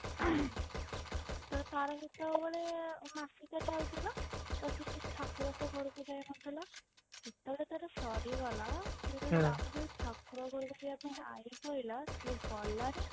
ତ ତାର ସେତେବେଳେ ମାସିକିଆ ଚାଲିଥିଲା ଆଉ ସେ ଠାକୁରଙ୍କ ଘରକୁ ଯାଉନଥିଲା ଯେତେବେଳେ ତାର ସରିଗଲା ତ ପରେ ଠାକୁର ଗହରକୁ ଯିବା ପାଇଁ ଆଈ କହିଲା ସିଏ ଗଲାନି